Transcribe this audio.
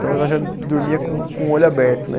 Então, ela já dormia com com o olho aberto, né?